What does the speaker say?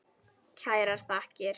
Kærar þakkir